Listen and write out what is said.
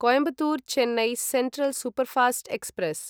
Coimbatore Chennai central superfast express